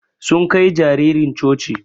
Sun Kai jaririn coci.